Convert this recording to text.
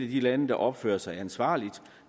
de lande der opfører sig ansvarligt